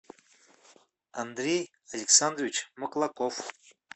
андрей александрович маклаков